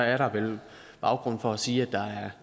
er der vel baggrund for at sige at der er